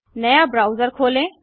नया ब्राउजर खोलें